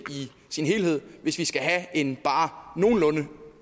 i sin helhed hvis vi skal have en bare nogenlunde